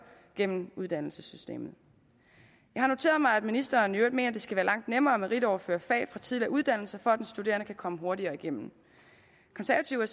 gennem uddannelsessystemet jeg har noteret mig at ministeren i øvrigt mener at det skal være langt nemmere at meritoverføre fag fra tidligere uddannelser for at den studerende kan komme hurtigere igennem konservative er